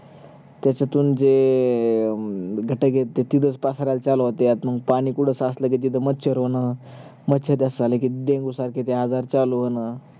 त्याच्यतून जे घटक आहेत ते तिथच पसरायला चालू होते आणि पाणी कुठ साचल कि तिथ मच्छर होण, मच्छर डसायल कि ते डेंगू सारख ते आजार चालू होण